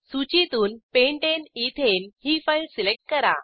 सूचीतून pentane ethane ही file select करा